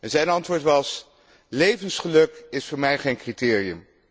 Zijn antwoord was Levensgeluk is voor mij geen criterium.